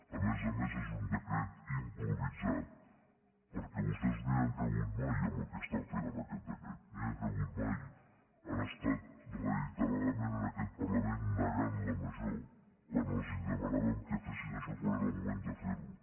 a més a més és un decret improvisat perquè vostès no hi han cregut mai en el que estan fent amb aquest decret no hi han cregut mai han estat reiteradament en aquest parlament negant la major quan els demanàvem que fessin això quan era el moment de fer ho